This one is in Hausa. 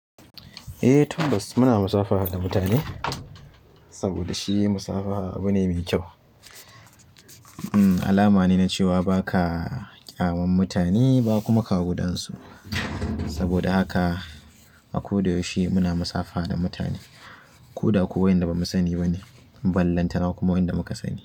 Eh tabbas muna musabaha da mutane saboda shi musabaha abu ne mai kyau. Alama ne na cewa ba ka ƙyamam mutane ba kuma ka gudansu. Saboda haka a ko da yaushe muna musafaha da mutane ko da kuwa waɗanda bamu sani ba ne, ballantana kuma waɗanda muka sani.